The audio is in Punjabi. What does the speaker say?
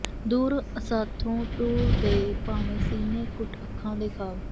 ਦੂਰ ਅਸਾਥੋਂ ਟੁਰ ਗਏ ਭਾਵੇਂ ਸੀਨੇ ਘੁੱਟ ਅੱਖਾਂ ਦੇ ਖ਼ਾਬ